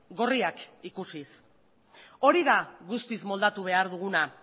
gorriak ikusiz hori da guztiz moldatu behar duguna